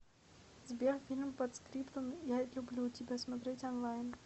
сбер фильм подскриптум я люблю тебя смотреть онлайн